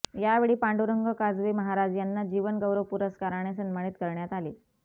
यावेळी पांडुरंग काजवे महाराज यांना जीवन गौरव पुरस्काराने सन्मानित करण्यात आले